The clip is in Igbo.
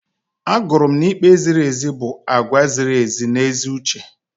Agụrụ m na ikpe ziri ezi bụ àgwà ziri ezi na ezi uche.